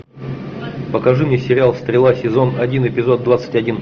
покажи мне сериал стрела сезон один эпизод двадцать один